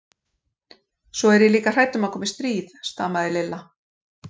Svo er ég líka hrædd um að komi stríð. stamaði Lilla.